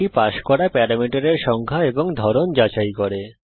এটি পাস করা প্যারামিটারের সংখ্যা এবং ধরন যাচাই করে